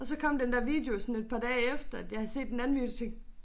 Og så kom den der video sådan et par dage efter at jeg havde set den anden video så tænkte